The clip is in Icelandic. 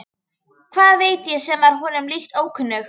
Hvað veit ég sem var honum líka ókunnug.